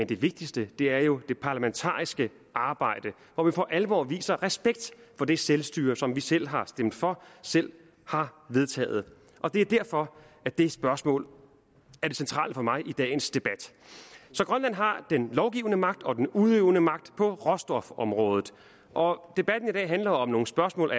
det vigtigste er jo det parlamentariske arbejde hvor vi for alvor viser respekt for det selvstyre som vi selv har stemt for selv har vedtaget og det er derfor at det spørgsmål er det centrale for mig i dagens debat så grønland har den lovgivende magt og den udøvende magt på råstofområdet og debatten i dag handler om nogle spørgsmål